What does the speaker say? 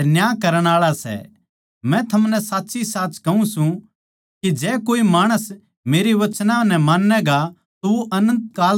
मै थमनै साच्चीसाच कहूँ सूं के जै कोए माणस मेरे वचनां नै मान्नैगा तो वो अनन्त काल ताहीं कोनी मरै